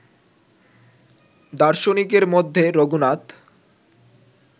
দার্শনিকের মধ্যে রঘুনাথ